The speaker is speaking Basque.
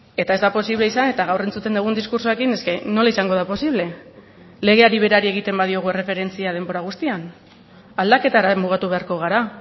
eta ez da posible izan eta gaur entzuten dugun diskurtsoekin es que nola izango da posible legeari berari egiten badiogu erreferentzia denbora guztian aldaketara mugatu beharko gara